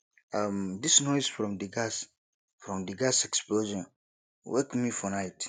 um dis noise from di gas from di gas explosion wake me for night